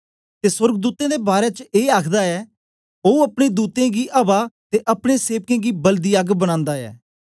ते सोर्गदूतें दे बारै च ए आखदा ऐ ओ अपने दूतें गी अवा ते अपने सेवकें गी बलदी अग्ग बनांदा ऐ